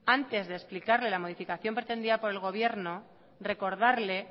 antes de explicar la modificación pretendida por el gobierno recordarle